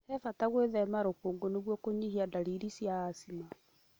He bata gũĩthema rũkũngũ nĩguo kũnyia dalili cia acima